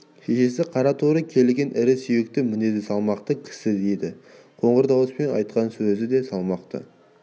шешесі қара торы келген ірі сүйекті мінезі салмақты кісі еді қоңыр дауыспен айтқан сөзі де салмақты